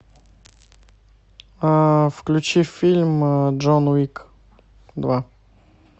включи фильм джон уик два